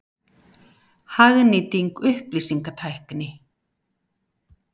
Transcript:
Hagnýting upplýsingatækni.